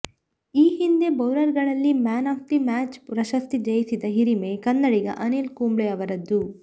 ಈ ಹಿಂದೆ ಬೌಲರ್ಗಳಲ್ಲಿ ಮ್ಯಾನ್ ಆಫ್ ದ ಮ್ಯಾಚ್ ಪ್ರಶಸ್ತಿ ಜಯಿಸಿದ ಹಿರಿಮೆ ಕನ್ನಡಿಗ ಅನಿಲ್ ಕುಂಬ್ಳೆ ಅವರದ್ದು